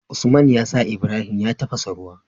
Usman yasa Ibrahim ya tafasa ruwa